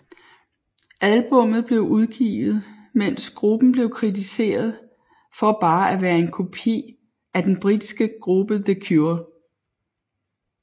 Albummet blev udgivet mens gruppen blev kritiseret for bare at være en kopi af den britiske gruppe The Cure